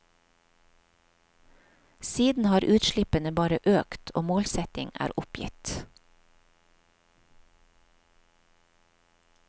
Siden har utslippene bare økt og målsetting er oppgitt.